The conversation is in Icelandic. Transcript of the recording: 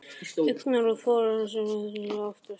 Augnaráð föður hans eitt saman var oftast nóg.